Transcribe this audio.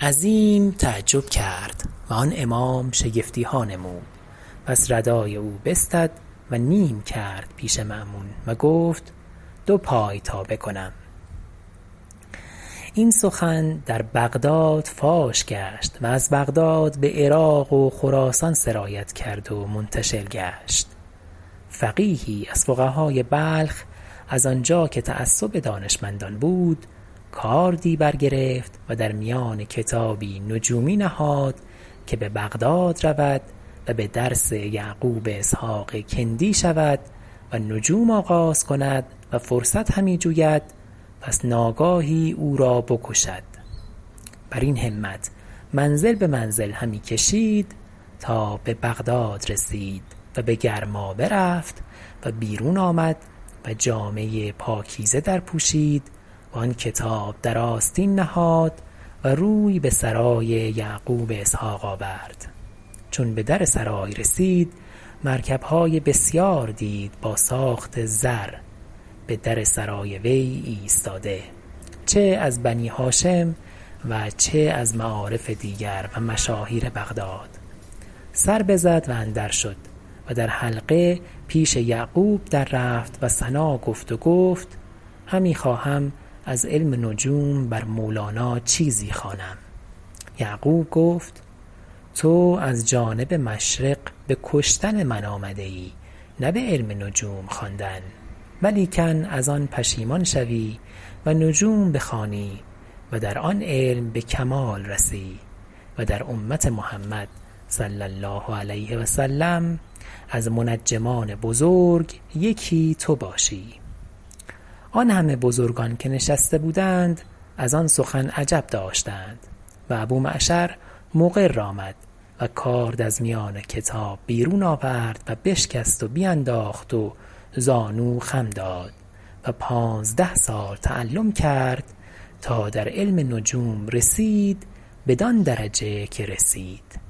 عظیم تعجب کرد و آن امام شگفتیها نمود پس رداء او بستد و دو نیمه کرد پیش مأمون و گفت دو پایتابه کنم این سخن در بغداد فاش گشت و از بغداد بعراق و خراسان سرایت کرد و منتشر گشت فقیهی از فقهاء بلخ از آنجا که تعصب دانشمندان بود کاردی برگرفت و در میان کتابی نجومی نهاد که ببغداد رود و بدرس یعقوب اسحق کندی شود و نجوم آغاز کند و فرصت همی‎جوید پس ناگاهی اورا بکشد برین همت منزل بمنزل همی کشید تا ببغداد رسید و بگرمابه رفت و بیرون آمد و جامه پاکیزه در پوشید و آن کتاب در آستین نهاد و روی بسرای یعقوب اسحق آورد چون بدر سرای رسید مرکبهای بسیار دید با ساخت زر بدر سرای وی ایستاده چه از بنی هاشم و چه از معارف دیگر و مشاهیر بغداد سر بزد و اندر شد و در حلقه پیش یعقوب دررفت و ثنا گفت و گفت همی خواهم از علم نجوم بر مولانا چیزی خوانم یعقوب گفت تو از جانب مشرق بکشتن من آمده ای نه بعلم نجوم خواندن ولیکن از آن پشیمان شوی و نجوم بخوانی و در آن علم بکمال رسی و در امت محمد صلعم از منجمان بزرگ یکی تو باشی آن همه بزرگان که نشسته بودند از آن سخن عجب داشتند و ابو معشر مقر آمد و کارد از میان کتاب بیرون آورد و بشکست و بینداخت و زانو خم داد و پانزده سال تعلم کرد تا در علم نجوم رسید بدان درجه که رسید